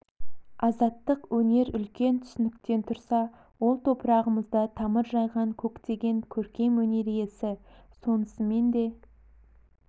азаттық өнер үлкен түсініктен тұрса ол топырағымызда тамыр жайған көктеген көркем өнер иесі сонысымен де